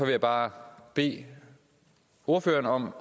jeg bare bede ordføreren om